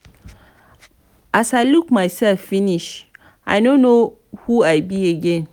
as i look myself finish i no know who i be again.